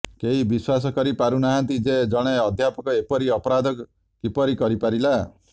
କେହି ବିଶ୍ବାସ କରି ପାରୁନାହାନ୍ତି ଯେ ଜଣେ ଅଧ୍ୟାପକ ଏପରି ଅପରାଧ କିପରି କରି ପାରିଲା